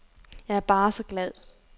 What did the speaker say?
Jeg er bare så glad.